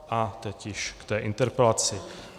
A teď již k interpelaci.